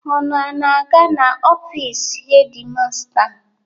Unu ana-aga n'ofiisi hedi masta?